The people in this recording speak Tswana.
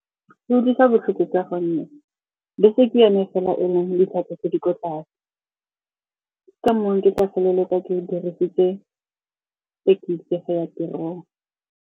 Go utlwisa botlhoko ka gonne bese ke yone fela e leng ditlhwatlhwa tse di ko tlase. Ke ka moo ke tla feleletsa ke dirisitse thekisi go ya tirong.